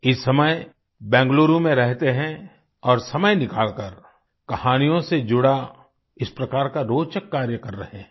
इस समय बेंगलुरु में रहते हैं और समय निकालकर कहानियों से जुड़ा इस प्रकार का रोचक कार्य कर रहे है